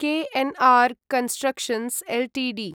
KNR constructions Ltd